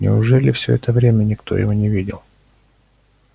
неужели всё это время никто его не видел